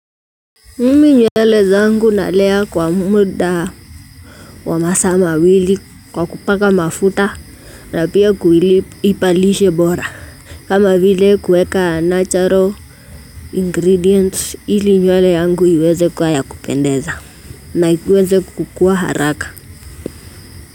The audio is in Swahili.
Mimi nywele zangu nalea kwa muda wa masaa mawili kwa kupaka mafuta na pia kuipa lishe bora. Kama vile kueka 'natural ingredients' ili nywele yangu iweze kuwa ya kupendeza, na iweze kukua haraka.